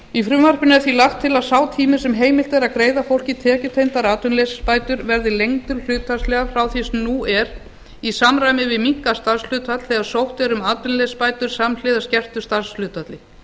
í frumvarpinu er því lagt til að sá tími sem heimilt er að greiða fólki tekjutengdar atvinnuleysisbætur verði lengdur hlutfallslega frá því sem nú er í samræmi við minnkað starfshlutfall þegar sótt er um atvinnuleysisbætur samhliða skertu starfshlutfalli